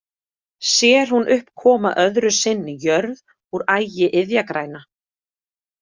Sér hún upp koma öðru sinni jörð úr ægi iðjagræna.